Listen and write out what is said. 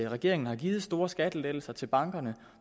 regeringen har givet store skattelettelser til bankerne